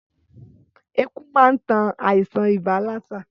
Ẹku man tan àìsàn ibà lásà